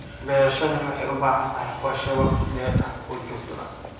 Beerashadani waxay u baahan tahay qorshe wakhti dheer ah oo joogto ah.